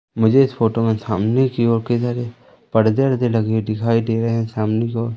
मुझे इस फोटो में सामने की ओर कई सारे पर्दे वर्दे लगे दिखाई दे रहे हैं सामने की ओ--